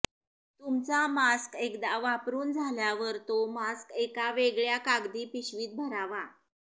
तुमचा मास्क एकदा वापरून झाल्यावर तो मास्क एका वेगळ्या कागदी पिशवीत भरावा